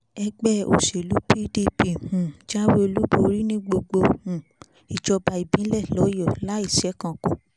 ẹgbẹ́ òṣèlú pdp um jáwé olúborí ní gbogbo um ìjọba ìbílẹ̀ lọ́yọ láì ṣẹ̀kánkù